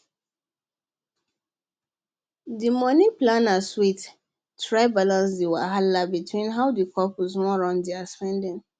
the money planner sweat try balance the wahala between how the couple wan run their spending